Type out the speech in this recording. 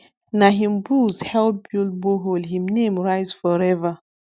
na him bulls help build borehole him name rise forever